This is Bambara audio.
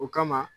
O kama